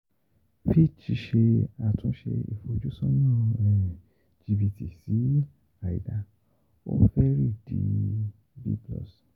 Fitch Ṣe Àtúnṣe Ìfojúsọ́nà um Íjíbítì sí Àìdáa; Ó Fẹ̀rí Di B +